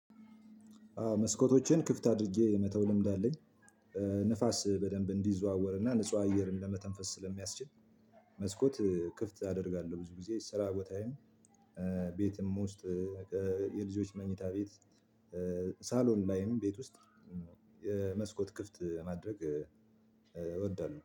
መስኮቶቼን ክፍት አድርጌ የመተው ልምድ አለኝ ንፋስ በደንብ እንድዘዋወርና ንጹህ አየርን ለመተንፈስ ስለሚያስችል። መስኮት ክፍት አደርጋለሁ ብዙ ጊዜ ስራ ቦታዬም ቤትም ውስጥ የልጆች መኝታ ቤት ሳሎን ላይም ቤት ውስጥ የመስኮት ክፍት ማድረግ እወዳለሁ